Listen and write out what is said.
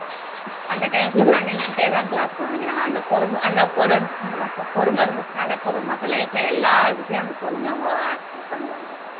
அந்த time full ஆ நின்னுக்கிட்டேதான் class கவனிக்கிறாங்க அந்த பொறுமை இருந்துச்சுன்னாலே போதும் மத்த life ல எல்லார்கிட்டயும் அந்த பொறுமையை அவங்க இது பண்ணுவாங்க